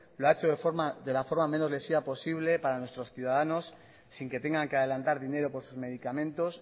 lo ha hecho de la forma menos lesiva posible para nuestros ciudadanos sin que tengan que adelantar dinero por sus medicamentos